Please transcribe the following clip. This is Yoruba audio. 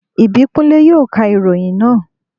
Ìbíkúnlé yóò ka ìròyìn náà